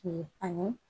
ani